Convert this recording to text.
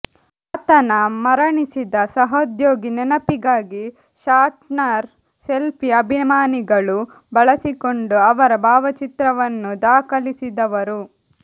ಆತನ ಮರಣಿಸಿದ ಸಹೋದ್ಯೋಗಿ ನೆನಪಿಗಾಗಿ ಷಾಟ್ನರ್ ಸೆಲ್ಫಿ ಅಭಿಮಾನಿಗಳು ಬಳಸಿಕೊಂಡು ಅವರ ಭಾವಚಿತ್ರವನ್ನು ದಾಖಲಿಸಿದವರು